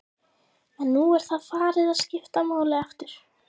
En nú er það farið að skipta máli aftur?